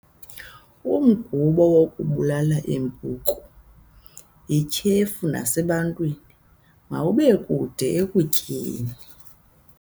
Umgubo wokubulala iimpuku yityhefu nasebantwini, mawubekude ekutyeni.